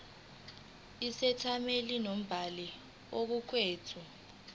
isethameli nombhali kokuqukethwe